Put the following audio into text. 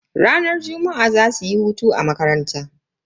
Ranar juma'a zasuyi hutu a makaranta.